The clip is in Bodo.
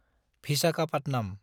भिसाखापाटनाम